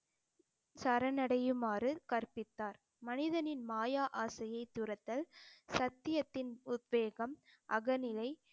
சரணடையுமாறு கற்பித்தார் மனிதனின் மாய ஆசையைத் துரத்தல், சத்தியத்தின் உத்வேகம், அகநிலை